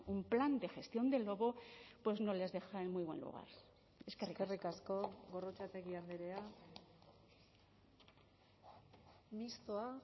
un plan de gestión del lobo pues no les deja en muy buen lugar eskerrik asko gorrotxategi andrea mistoa